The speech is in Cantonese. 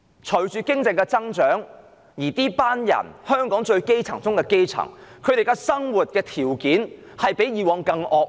本港經濟一直增長，但屬於香港基層中最基層的人士，他們的生活環境卻比以往更惡劣。